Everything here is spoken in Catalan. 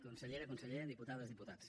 consellera conseller diputades diputats